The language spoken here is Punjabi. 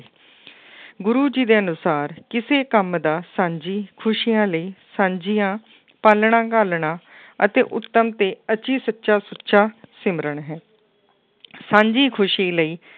ਗੁਰੂ ਜੀ ਦੇ ਅਨੁਸਾਰ ਕਿਸੇ ਕੰਮ ਦਾ ਸਾਂਝੀ ਖ਼ੁਸ਼ੀਆਂ ਲਈ ਸਾਂਝੀਆਂ ਪਾਲਣਾ ਘਾਲਣਾ ਅਤੇ ਉੱਤਮ ਤੇ ਅਤੀ ਸੱਚਾ ਸੁੱਚਾ ਸਿਮਰਨ ਹੈ ਸਾਂਝੀ ਖ਼ੁਸ਼ੀ ਲਈ,